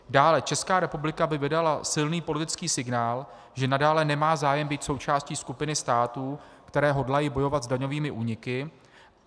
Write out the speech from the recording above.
Dále, Česká republika by vydala silný politický signál, že nadále nemá zájem být součástí skupiny států, které hodlají bojovat s daňovými úniky.